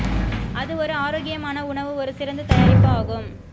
அது ஒரு ஆரோக்கியமான உணவு ஒரு சிறந்த தயாரிப்பு ஆகும்